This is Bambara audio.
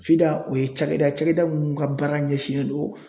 o ye cakɛda ye cakɛda mun ka baara ɲɛsinnen do